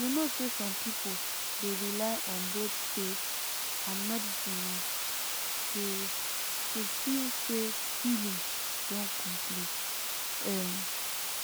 you know say some people dey rely on both faith and medicine o to to feel say healing don complete um